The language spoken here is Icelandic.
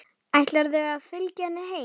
Ætlarðu að fylgja henni heim?